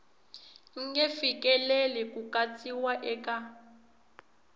nge fikeleli ku katsiwa eka